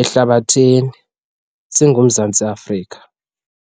ehlabathini singuMzantsi Afrika.